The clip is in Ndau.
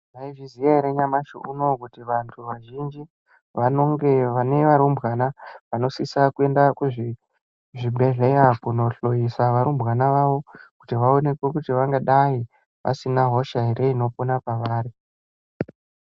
Mai zviziya ere nyamashi unowu kuti vantu vazhinji vanonge vane varumbwana vano sisa kuenda ku zvibhedhleya kuno hloyisa varumbwana vavo kuti vaonekwe kuti vanga dai vasina hosha ere ino pona pavari.